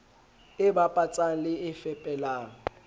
e bapatsang le e fepelang